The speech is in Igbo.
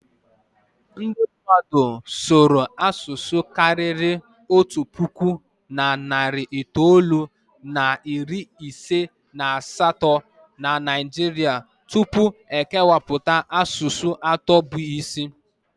Ndị mmadụ sụọla karịa asụsụ karịrị otu puku na narị itoolu na iri ise na asatọ na Naijiria tupu e kepụta asụsụ atọ bụ isi.